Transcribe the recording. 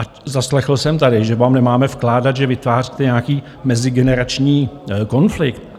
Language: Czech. A zaslechl jsem tady, že vám nemáme vkládat, že vytváříte nějaký mezigenerační konflikt.